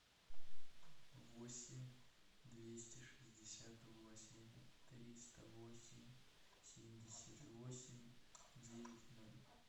восемь двести шестьдесят восемь триста восемь семьдесят восемь девять ноль